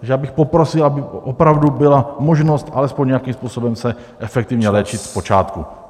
Takže já bych poprosil, aby opravdu byla možnost alespoň nějakým způsobem se efektivně léčit v počátku.